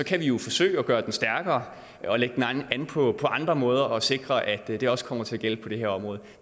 kan vi jo forsøge at gøre den stærkere og lægge den an på andre måder og sikre at det også kommer til at gælde på det her område